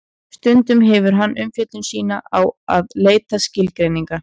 Stundum hefur hann umfjöllun sína á því að leita skilgreininga.